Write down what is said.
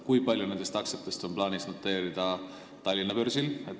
Kui palju nendest aktsiatest on plaanis noteerida Tallinna börsil?